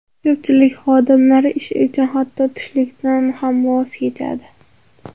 Ko‘pchilik xodimlar ish uchun hatto tushlikdan ham voz kechadi!